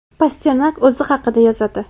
Pasternak o‘zi haqida yozadi.